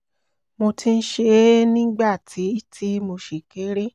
mo ti ń ṣe é nígbà tí tí mo ṣì kéré